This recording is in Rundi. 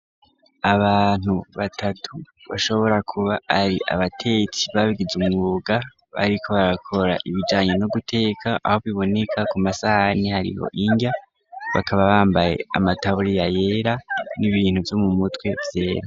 Abantu batatu bashobora kuba ari abatetsi babwize umwuga bariko barakora ibijanye no guteka aho biboneka ku masahani hariho irya bakaba bambaye amataburiya yera n'ibintu vyo mu mutwe vyera.